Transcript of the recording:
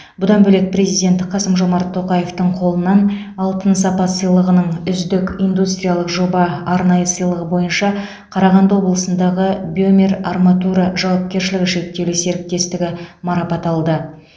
бұдан бөлек президент қасым жомарт тоқаевтың қолынан алтын сапа сыйлығының үздік индустриялық жоба арнайы сыйлығы бойынша қарағанды облысындағы бемер арматура жауапкершілігі шектеулі серіктестігі марапат алды